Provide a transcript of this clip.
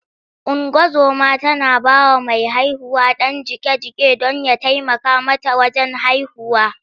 Ungozoma tana ba wa mai haihuwa ɗan jiƙe-jiƙe don ya taimaka mata wajen haihuwa.